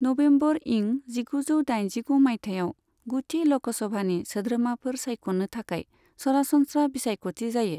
November इं जिगुजौ दाइजिगु माइथायाव, गुथि ल'कसभानि सोद्रोमाफोर सायख'नो थाखाय सरासनस्रा बिसायख'थि जायो।